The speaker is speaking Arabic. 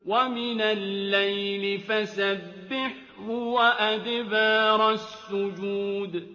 وَمِنَ اللَّيْلِ فَسَبِّحْهُ وَأَدْبَارَ السُّجُودِ